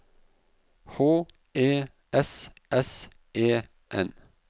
H E S S E N